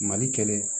Mali kɛlɛ